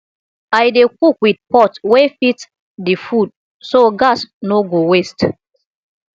i dey cook with pot wey fit the food so gas no go waste